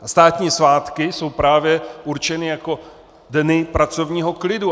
A státní svátky jsou právě určeny jako dny pracovního klidu.